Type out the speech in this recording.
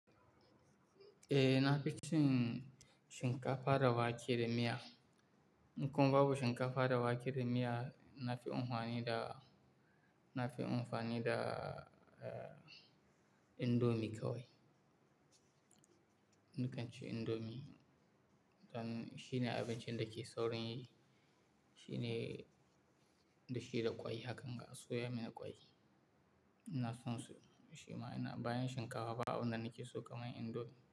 Eh, na fi cin shinkafa da wake da miya. In kuma babu shinkafa da wake da miya, na fi unuwani da-- na fi amfani da, eh, indomie kawai. Ni kan ci indomie. Don shi ne abincin da ke saurin yi. Shi ne-- da shi da ƙwai hakan ga soya mana ƙwai. Ina son su, shi ma ina-- bayan shinkafa, babu abinda nake so kamar indomie.